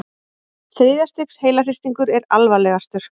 Þriðja stigs heilahristingur er alvarlegastur.